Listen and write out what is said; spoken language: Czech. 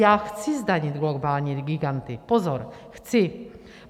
Já chci zdanit globální giganty, pozor, chci!